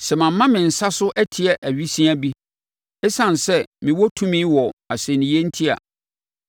sɛ mama me nsa so atia awisiaa bi, ɛsiane sɛ mewɔ tumi wɔ asɛnniiɛ enti a,